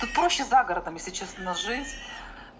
тут проще за городом если честно жить